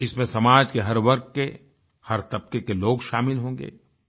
इसमें समाज के हर वर्ग के हर तबके के लोग शामिल होंगे